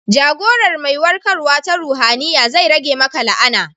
Jagorar mai warkarwa ta ruhaniya zai rage maka la'ana.